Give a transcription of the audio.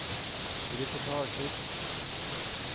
reportasjer